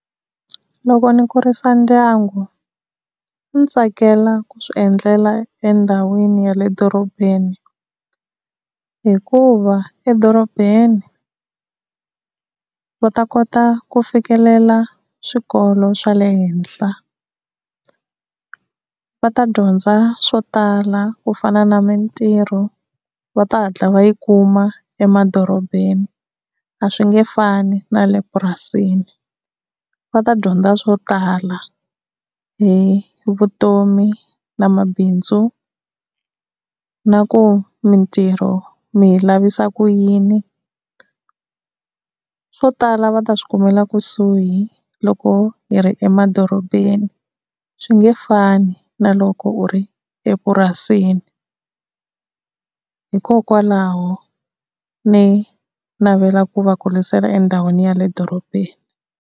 Loko ni kurisa ndyangu ndzi tsakela ku swi endlela endhawini ya le dorobeni hikuva edorobeni va ta kota ku fikelela swikolo swa le henhla va ta dyondza swo tala ku fana na mintirho va ta hatla va yi kuma emadorobeni a swi nge fani na le purasini va ta dyondza swo tala hi vutomi na mabindzu na ku mintirho mi yi lavisisa ku yini, swo tala va ta swi kumela kusuhi loko hi ri emadorobeni swi nge fani na loko u ri epurasini. Hikokwalaho ni navelaka ku va kurisela endhawini ya le dorobeni.